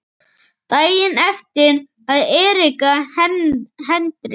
Daginn eftir að Erika Hendrik